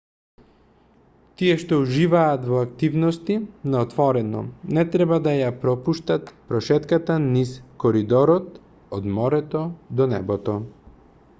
тие што уживаат во активности на отворено не треба да ја пропуштат прошетката низ коридорот од морето до небото